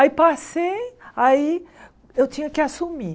Aí passei, aí eu tinha que assumir.